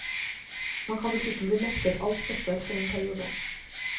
Man kan dessuten bli nektet all støtte for en periode.